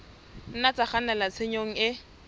nna tsa kgannela tshenyong e